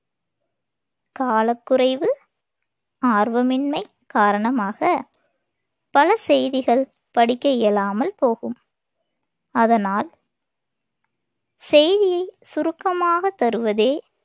காலக் குறைவு, ஆர்வமின்மை காரணமாகப் பல செய்திகள் படிக்க இயலாமல் போகும். அதனால் செய்தியைச் சுருக்கமாகத் தருவதே